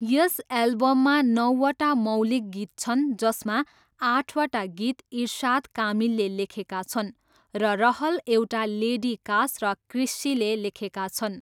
यस एल्बममा नौवटा मौलिक गीत छन् जसमा आठवटा गीत इरसाद कामिलले लेखेका छन् र रहल एउटा लेडी कास र क्रिस्सीले लेखेका छन्।